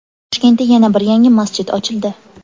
Toshkentda yana bir yangi masjid ochildi .